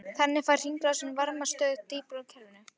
Þannig fær hringrásin varma stöðugt dýpra úr kerfinu.